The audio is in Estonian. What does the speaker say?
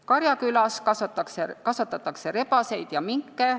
Karjakülas kasvatatakse rebaseid ja minke.